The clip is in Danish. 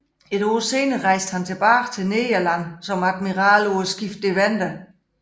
Et år senere rejste han tilbage til Nederland som admiral på skibet Deventer